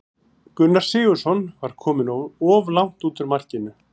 Gunnar Sigurðsson var kominn of langt út úr markinu.